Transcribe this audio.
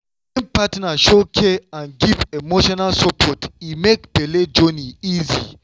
wen partner show care and give emotional support e make belle journey easy.